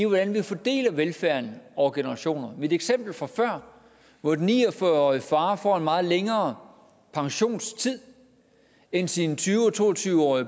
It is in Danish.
hvordan vi fordeler velfærden over generationer mit eksempel fra før hvor den ni og fyrre årige far får en meget længere pensionstid end sine tyve og to og tyve år er